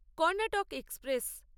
Karnataka express